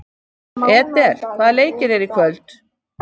Edel, hvaða leikir eru í kvöld?